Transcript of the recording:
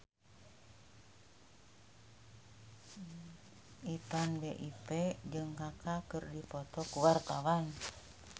Ipank BIP jeung Kaka keur dipoto ku wartawan